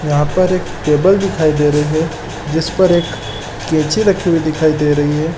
यहाँ पर एक टेबल दिखाई दे रही है जिस पर एक कैची रखी हुई दिखाई दे रही है।